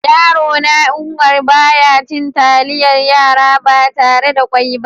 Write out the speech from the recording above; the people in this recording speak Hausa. Yaro na Umar, ba ya cin talliyar yara ba tarre da ƙwoi ba.